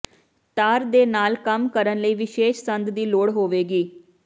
ਤਾਰ ਦੇ ਨਾਲ ਕੰਮ ਕਰਨ ਲਈ ਵਿਸ਼ੇਸ਼ ਸੰਦ ਦੀ ਲੋੜ ਹੋਵੇਗੀ